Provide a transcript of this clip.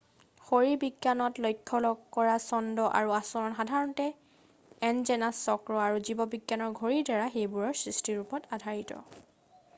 শৰীৰবিজ্ঞানত লক্ষ্য কৰা ছন্দ আৰু আচৰণ সাধাৰণতে এণ্ড'জেনাছ চক্ৰ আৰু জীৱবিজ্ঞানৰ ঘড়ীৰ দ্বাৰা সেইবোৰৰ সৃষ্টিৰ ওপৰত আধাৰিত